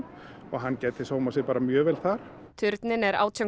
og hann gæti sér mjög vel þar turninn er átján